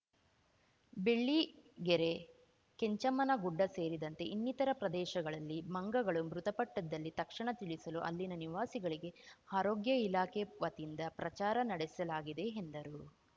ಬೆಳ್ಳಿಗೆರೆ ಕೆಂಚಮ್ಮನ ಗುಡ್ಡ ಸೇರಿದಂತೆ ಇನ್ನಿತರ ಪ್ರದೇಶಗಳಲ್ಲಿ ಮಂಗಗಳು ಮೃತಪಟ್ಟದಲ್ಲಿ ತಕ್ಷಣ ತಿಳಿಸಲು ಅಲ್ಲಿನ ನಿವಾಸಿಗಳಿಗೆ ಆರೋಗ್ಯ ಇಲಾಖೆ ವತಿಯಿಂದ ಪ್ರಚಾರ ನಡೆಸಲಾಗಿದೆ ಎಂದರು